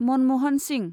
Manmohan Singh